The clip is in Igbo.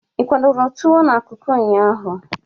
Ị kwadọrọ tuwo na kuku ụnyaahụ?